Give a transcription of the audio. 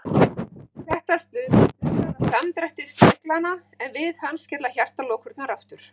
Þetta stuðlar að samdrætti sleglanna, en við hann skella hjartalokurnar aftur.